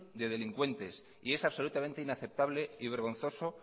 de delincuentes y es absolutamente inaceptable y vergonzoso